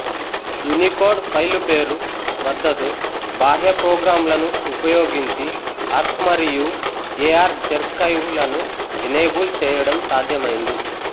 Unicode file పేరు మద్దతు బాహ్య ప్రోగ్రామ్ లను ఉపయోగించి ఆర్క్మరియు ఎఆర్ జెఆర్కైవ్ లను ఎనేబుల్ చేయడం సాధ్యమైంది